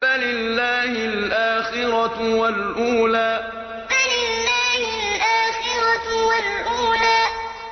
فَلِلَّهِ الْآخِرَةُ وَالْأُولَىٰ فَلِلَّهِ الْآخِرَةُ وَالْأُولَىٰ